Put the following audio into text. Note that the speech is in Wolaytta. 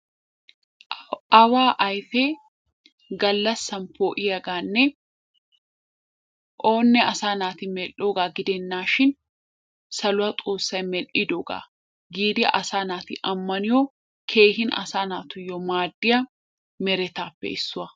Awaa ayfee gallassan poo'iyagaanne oonne asaa naati medhdhoogaa gidennaashin saluwa xoossay medhdhidoogaa giidi asaa naati ammaniyo keehin asaa naatuyyo maaddiya meretaappe issuwa.